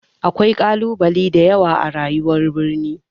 Akwai ƙalubale da yawa a rayuwar birni.